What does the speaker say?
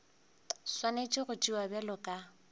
swanetše go tšewa bjalo ka